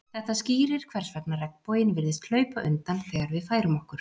þetta skýrir hvers vegna regnboginn virðist hlaupa undan þegar við færum okkur